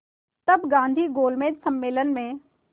तब गांधी गोलमेज सम्मेलन में